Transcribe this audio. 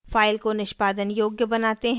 file को निष्पादन योग्य बनाते हैं